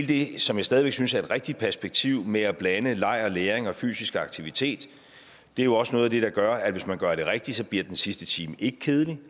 det som jeg stadig væk synes er et rigtigt perspektiv med at blande leg og læring og fysisk aktivitet det er jo også noget af det der gør at hvis man gør det rigtigt så bliver den sidste time ikke kedelig